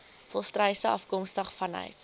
volstruise afkomstig vanuit